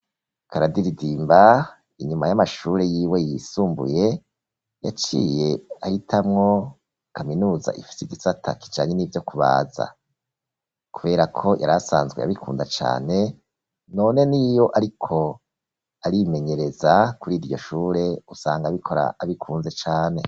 Karadiridimba, inyuma y'amashure yiwe, yisumbuye, yaciye ahitamwo kaminuza, ifise igisata, kijanye n'ivyo kubaza; kubera ko, yarasanzwe abikunda cane, none, n'iyo ariko arimenyereza, kuri iryo shure, usanga abikora, abikunze cane.